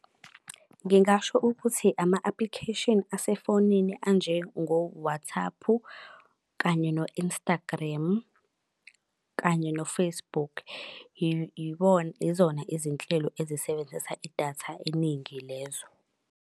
Ngingasho ukuthi ama-application asefonini anje ngoWathaphu kanye no-Instagremu kanye no-Facebook. Izona izinhlelo ezisebenzisa idatha eningi lezo.